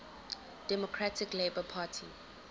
democratic labour party